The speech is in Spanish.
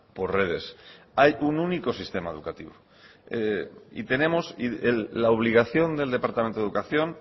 por redes hay un único sistema educativo y tenemos la obligación del departamento de educación